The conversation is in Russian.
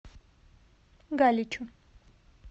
галичу